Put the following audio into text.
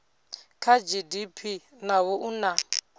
kha gdp naho u na